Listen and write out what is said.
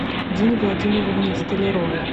дине владимировне столяровой